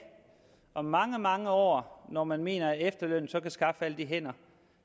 om mange mange år når man mener at efterlønnen så kan skaffe alle de hænder